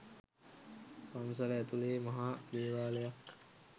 පන්සල ඇතුලේ මහා දේවාලයක්.